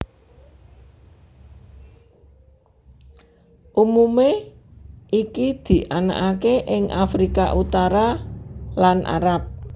Umumé iki dianakaké ing Afrika Utara lan Arab